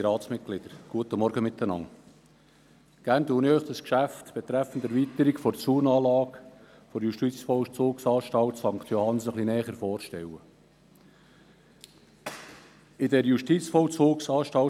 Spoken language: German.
der BaK. Gerne stelle ich Ihnen das Geschäft betreffend die Erweiterung der Zaunanlage der Justizvollzugsanstalt (JVA) St. Johannsen näher vor.